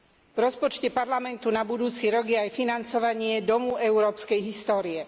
V rozpočte Parlamentu na budúci rok je aj financovanie Domu európskej histórie.